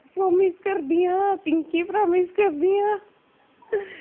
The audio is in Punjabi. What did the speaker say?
Promise ਕਰਦੀ ਹਾਂ ਪਿੰਕੀ promise ਕਰਦੀ ਹਾਂ